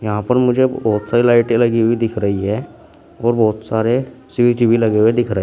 यहां पर मुझे बहुत सारी लाइटें लगी हुई दिख रही है और बहुत सारे स्विच भी लगे हुए दिख रहे हैं।